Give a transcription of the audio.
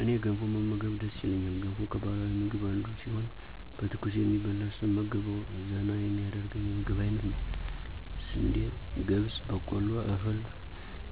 እኔ ገንፎ መመገብ ደስ ይለኛል ገንፎ ከባህላዊ ምግብ አንዱ ሲሆን በትኩሱ የሚበላ ስመገበዉ ዘና የሚያደርገኝ የምግብ አይነት ነዉ። ስንዴ፣ ገብስ፣ በቆሎ እህል